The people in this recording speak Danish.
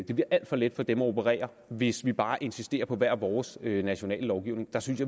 det bliver alt for let for dem at operere hvis vi bare insisterer på hver vores nationale lovgivning der synes